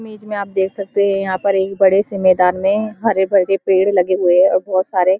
मेज में आप देख सकते हैं यहाँ पर एक बड़े से मैदान में हरे भरे पेड़ लगे हुए हैं और बहोत सारे --